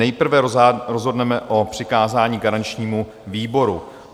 Nejprve rozhodneme o přikázání garančnímu výboru.